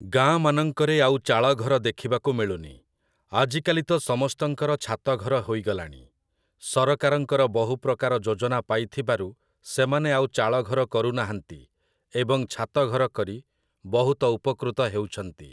ଗାଁମାନଙ୍କରେ ଆଉ ଚାଳଘର ଦେଖିବାକୁ ମିଳୁନି । ଆଜିକାଲି ତ ସମସ୍ତଙ୍କର ଛାତଘର ହୋଇଗଲାଣି । ସରକାରଙ୍କର ବହୁପ୍ରକାର ଯୋଜନା ପାଇଥିବାରୁ ସେମାନେ ଆଉ ଚାଳଘର କରୁନାହାନ୍ତି ଏବଂ ଛାତଘର କରି ବହୁତ ଉପକୃତ ହେଉଛନ୍ତି।